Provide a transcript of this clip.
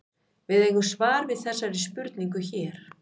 Við eigum svar við þessari spurningu hér.